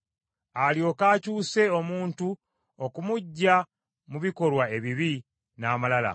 alyoke akyuse omuntu okumuggya mu bikolwa ebibi n’amalala,